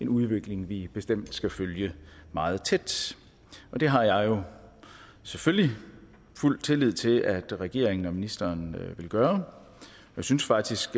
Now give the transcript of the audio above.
udvikling vi bestemt skal følge meget tæt det har jeg selvfølgelig fuld tillid til at regeringen og ministeren vil gøre jeg synes faktisk